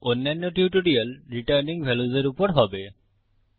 অন্যান্য টিউটোরিয়াল ফেরত পাওয়া মান অর্থাত রিটার্নিং ভাল্য়ুস এর উপর হবে